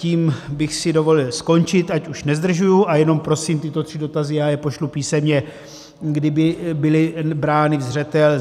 Tím bych si dovolil skončit, ať už nezdržuji, a jenom prosím tyto tři dotazy, já je pošlu písemně, kdyby byly brány na zřetel.